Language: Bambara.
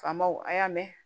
Faamaw a y'a mɛn